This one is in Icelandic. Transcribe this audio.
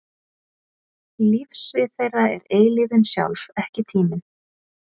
Lífssvið þeirra er eilífðin sjálf, ekki tíminn.